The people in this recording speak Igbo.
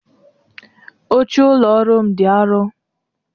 Oche ụlọ ọrụ m dị arọ